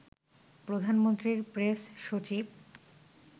প্রধানমন্ত্রীর প্রেস সচিব